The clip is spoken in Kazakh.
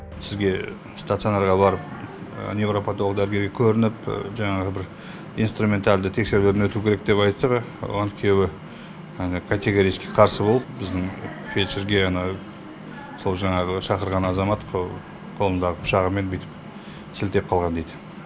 сізге стационарға барып невропатолог дәрігерге көрініп жаңағы бір инструменталды тексеруден өту керек деп айтса оған күйеуі категорический қарсы болып біздің фельдшерге сол жаңағы шақырған азамат қолындағы пышағымен бүйтіп сілтеп қалған дейді